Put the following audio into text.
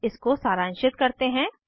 इसको सारांशित करते हैं